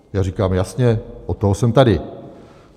Já říkám: Jasně, od toho jsem tady.